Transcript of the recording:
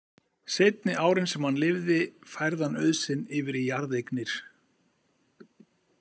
Seinni árin sem hann lifði færði hann auð sinn yfir í jarðeignir.